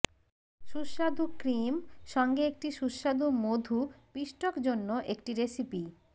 সুস্বাদু ক্রিম সঙ্গে একটি সুস্বাদু মধু পিষ্টক জন্য একটি রেসিপি